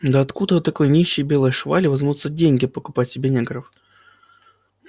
да откуда у такой нищей белой швали возьмутся деньги покупать себе негров